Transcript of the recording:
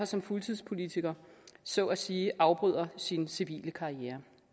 som fuldtidspolitiker så at sige afbryder sin civile karriere